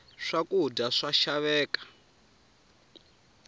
swa kudya swa xaveka